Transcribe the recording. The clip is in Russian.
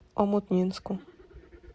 омутнинску